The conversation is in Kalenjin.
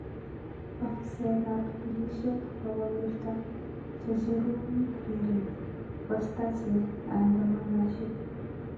Ofisaek ap pilishek kokowirta checherun rireng, kosta che aadamnanashek